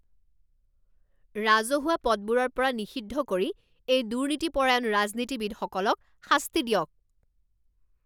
ৰাজহুৱা পদবোৰৰ পৰা নিষিদ্ধ কৰি এই দুৰ্নীতিপৰায়ণ ৰাজনীতিবিদসকলক শাস্তি দিয়ক।